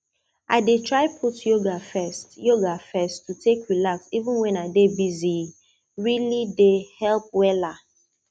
i dey try put yoga first yoga first to take relax even when i dey busye really dey help wella